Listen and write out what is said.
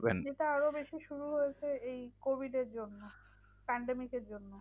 যেটা আরো বেশি শুরু হয়েছে এই covid এর জন্য। pandemic এর জন্য।